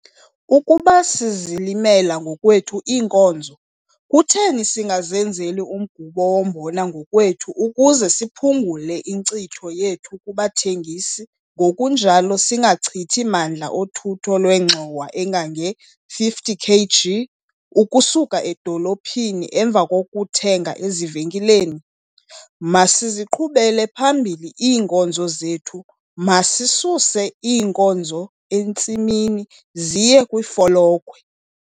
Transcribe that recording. Ukuba sizilimela ngokwethu iinkozo, kutheni singazenzeli umgubo wombona ngokwethu ukuze siphungule inkcitho yethu kubathengisi ngokunjalo singachithi mandla othutho lwengxowa engange-50 kg ukusuka edolophini emva kokuthenga ezivenkileni? Masiziqhubele phambili iinkozo zethu, masisuse iinkozo entsimini ziye kwifolokhwe.